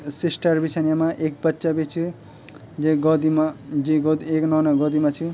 सिस्टर बी छन येमा ऐक बच्चा बि च जैक गौदी मा जीं गोदी एक नोना गोदी मा च।